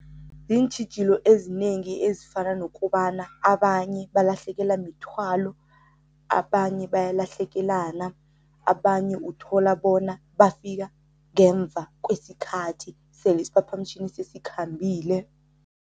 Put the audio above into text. Ziintjhijilo ezinengi ezifana nokobana abanye balahlekelwa mithwalo, abanye bayalahlekana, abanye uthola bona bafika ngemva kwesikhathi sele isiphaphamtjhini sesikhambile.